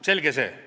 Selge see.